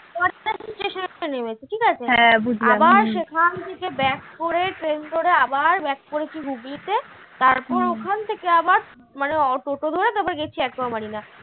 station এ নেমেছি ঠিকাছে আবার সেখান থেকে back করে train ধরে আবার back করেছি হুগলিতে তারপর ওখান থেকে আবার মানে auto ধরে তারপর গেছি acqua marina